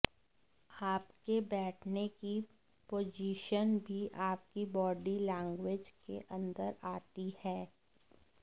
आपके बैठने की पोजीशन भी आपकी बॉडी लैंग्वेज के अन्दर आती है